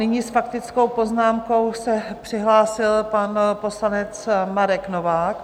Nyní s faktickou poznámkou se přihlásil pan poslanec Marek Novák.